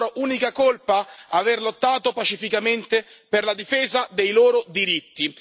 La loro unica colpa, aver lottato pacificamente per la difesa dei loro diritti.